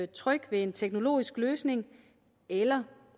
tryg ved en teknologisk løsning eller